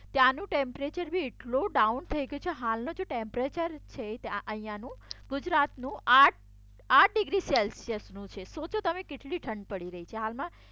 ત્યાંનું ટેમ્પરેચર એ બી એટલું ડાઉન થઈ ગયું છે હાલનુ જે ટેમ્પરેચર છે અહિયાનું ગુજરાતનું આઠ ડિગ્રી સેલ્સિયસનું છે સોચો તમે કેટલી ઠંડ પડી રહી છે હાલમાં